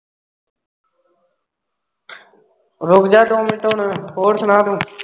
ਰੁਕ ਜਾ ਦੋ ਮਿੰਟ ਹੁਣ ਹੋਰ ਸੁਣਾ ਤੂੰ?